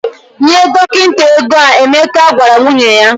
"Nye dọkịta ego a," Emeka gwara nwunye ya.